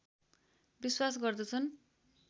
विश्वास गर्दछन्